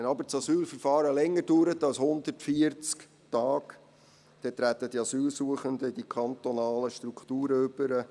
Wenn aber das Asylverfahren länger dauert als 140 Tage, dann treten die Asylsuchenden in die kantonalen Strukturen über.